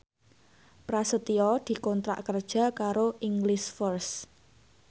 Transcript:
Prasetyo dikontrak kerja karo English First